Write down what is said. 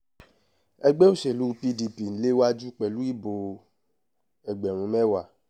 ẹgbẹ́ òṣèlú pdp ń léwájú pẹ̀lú ìbò ẹgbẹ̀rún mẹ́wàá